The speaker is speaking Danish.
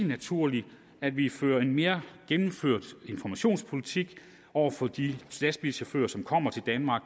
naturligt at vi fører en mere gennemført informationspolitik over for de lastbilchauffører som kommer til danmark